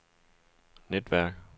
netværk